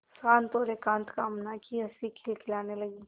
शांत और एकांत कामना की हँसी खिलखिलाने लगी